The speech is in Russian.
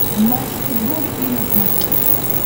матч футбол три на смотрешке